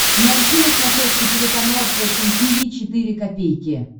найти на смотрешке телеканал фэшн ти ви четыре ка